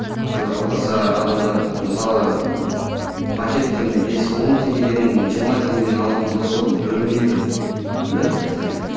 құдай қаласа адамдар мысалы пакеттің бес он теңгеден жиырма теңгеден алатын болса ол білінбейді да иә